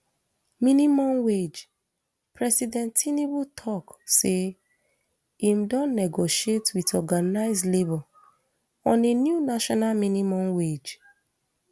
minimum wage president tinubu tok say im don negotiate wit organised labour on a new national minimum wage